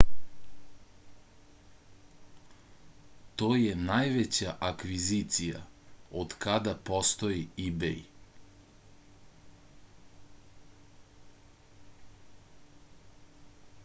to je najveća akvizicija otkada postoji ibej